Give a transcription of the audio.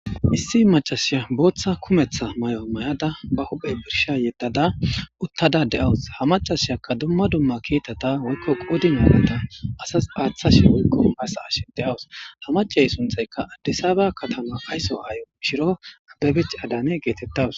Issi macashiya booththa kumetha may7o may7ada ba huphey birsha yeddada uttada de7awus ha macashiyakka dumma dumma kiitata woykko qoudi naaneda asas paaththashe woykko hasa ash de7awus ha macey sunthaykka addisaaba katama fayso aayo shiro abbebich adane geetettawus.